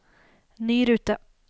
ny rute